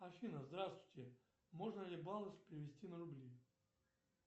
афина здравствуйте можно ли баллы перевести на рубли